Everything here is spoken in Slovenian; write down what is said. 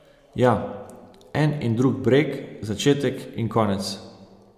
Ja, en in drug breg, začetek in konec.